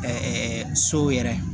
so yɛrɛ